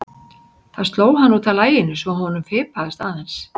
Það sló hann út af laginu svo að honum fipaðist aðeins.